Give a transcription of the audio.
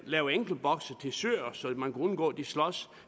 lave enkeltbokse til søer så man kan undgå at de slås